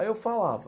Aí eu falava...